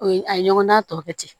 O ye a ye ɲɔgɔndan tɔ kɛ ten